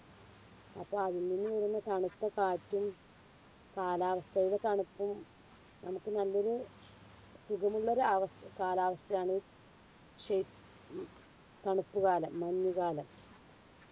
അപ്പൊ അതിൽ നിന്ന് വരുന്ന തണുത്ത കാറ്റും കാലാവസ്ഥയിലെ തണുപ്പും നമ്മക്ക് നല്ലൊരു സുഖമുള്ളൊരു അവസ് കാലാവസ്ഥയാണ്. ശൈ ഉം തണുപ്പ് കാലം, മഞ്ഞുകാലം.